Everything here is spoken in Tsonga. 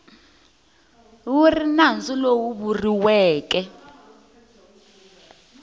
wu ri nandzu lowu vuriweke